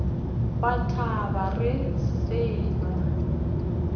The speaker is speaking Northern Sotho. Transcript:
wa taba re se nawo